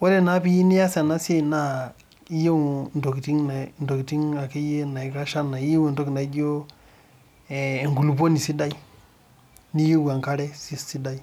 Wore naa pee iyieu nias ena siai naa iyieu intokitin akeyie naikash enaa iyieu intokitin naijo eh enkuluponi sidai, niyieu enkare sidai,